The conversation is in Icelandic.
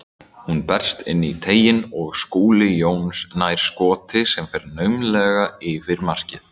Hún berst inn í teiginn og Skúli Jón nær skoti sem fer naumlega yfir markið.